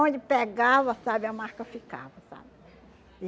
pegava, sabe, a marca ficava, sabe?